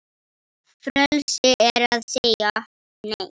Frelsi er að segja Nei!